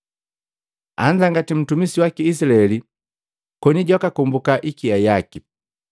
Anzangati ntumisi waki Izilaeli, koni jwakakombuka hikia yaki.